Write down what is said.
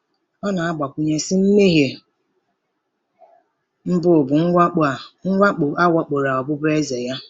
Ọ na-agbakwụnye, sị: “ Mmehie mbụ bụ mwakpo a mwakpo a wakporo ọbụbụeze ya.”